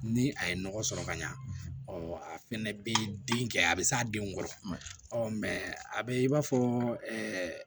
Ni a ye nɔgɔ sɔrɔ ka ɲa a fɛnɛ bi den kɛ a bi s'a denw kɔrɔ a be i b'a fɔ ɛɛ